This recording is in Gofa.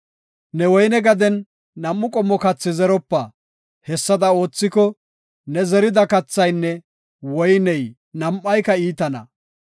Ne woyne gaden nam7u qommo kathi zeropa; hessada oothiko, ne zerida kathaynne woyney nam7ayka iitana.